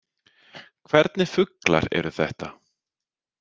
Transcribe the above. Hvernig fuglar eru þetta?